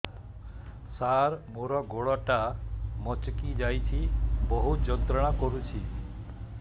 ସାର ମୋର ଗୋଡ ଟା ମଛକି ଯାଇଛି ବହୁତ ଯନ୍ତ୍ରଣା କରୁଛି